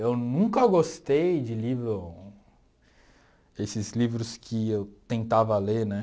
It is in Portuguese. Eu nunca gostei de livros, esses livros que eu tentava ler, né?